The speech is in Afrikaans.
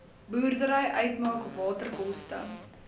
boerdery uitmaak waterkoste